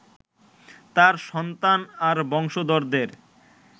তাঁর সন্তান আর বংশধরদের